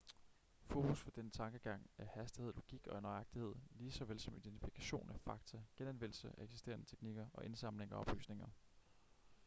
fokus for denne tankegang er hastighed logik og nøjagtighed lige såvel som identifikation af fakta genanvendelse af eksisterende teknikker og indsamling af oplysninger